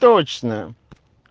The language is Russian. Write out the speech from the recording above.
точно